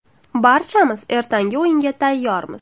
Barchamiz ertangi o‘yinga tayyormiz.